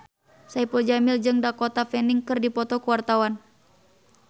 Saipul Jamil jeung Dakota Fanning keur dipoto ku wartawan